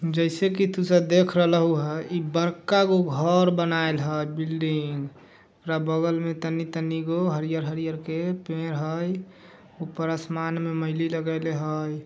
जैसे की तू सब देख रहल हुआ ई बड़का जो घर बनायल बा बिल्डिंग ओकरा बगल में तनी-तनी को हरियर-हरियर पेड़ हाई ऊपर आसमान में लागेले हव|